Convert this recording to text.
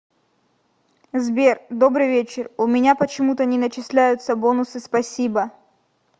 сбер добрый вечер у меня почему то не начисляются бонусы спасибо